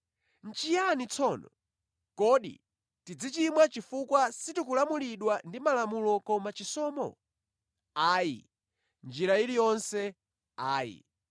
Nʼchiyani tsono? Kodi tidzichimwa chifukwa sitikulamulidwa ndi Malamulo koma chisomo? Ayi. Mʼnjira iliyonse ayi!